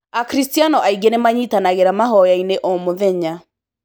Akristiano aingĩ nĩmanyitanangĩra mahoya-inĩ o mũthenya.